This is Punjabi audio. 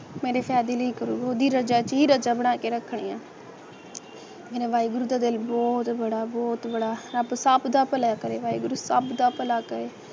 ਲਈ ਉਹਦੀ ਰਜਾ ਚ ਹੀ ਰਜਾ ਬਣਾ ਕੇ ਰੱਖਣੀ ਆ ਮੇਰੇ ਵਾਹਿਗੁਰੂ ਦਾ ਦਿਲ ਬਹੁਤ ਬੜਾ ਬਹੁਤ ਬੜਾ ਰੱਬ ਸਭ ਦਾ ਭਲਾ ਕਰੇ ਵਾਹਿਗੁਰੂ ਸਭ ਦਾ ਭਲਾ ਕਰੇ